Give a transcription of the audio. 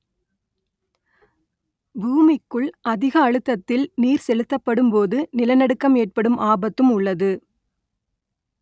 பூமிக்குள் அதிக அழுத்தத்தில் நீர் செலுத்தப்படும் போது நிலநடுக்கம் ஏற்படும் ஆபத்தும் உள்ளது